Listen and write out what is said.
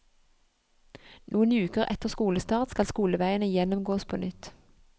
Noen uker etter skolestart skal skoleveiene gjennomgås på nytt.